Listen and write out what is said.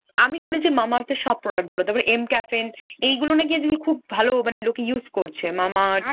আমি শুনেছি Mamaearth এর সব productভালো। তারপর Mcaffeine এইগুলো নাকি যে আজকাল খুব ভালো মানে লোকে use korche। Mamaearth